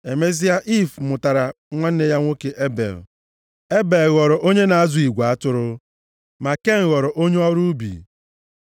Emesịa Iiv mụtara nwanne ya nwoke Ebel. Ebel ghọrọ onye na-azụ igwe atụrụ. Ma Ken ghọrọ onye ọrụ ubi.